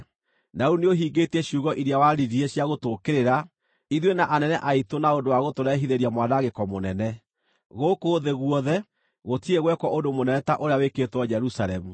Na rĩu nĩũhingĩtie ciugo iria waririe cia gũtũũkĩrĩra ithuĩ na anene aitũ na ũndũ wa gũtũrehithĩria mwanangĩko mũnene. Gũkũ thĩ guothe gũtirĩ gwekwo ũndũ mũnene ta ũrĩa wĩkĩtwo Jerusalemu.